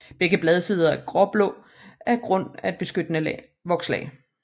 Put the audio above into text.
Begge bladsider er gråblå på grund af et beskyttende vokslag